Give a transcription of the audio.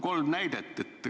Kolm näidet juba.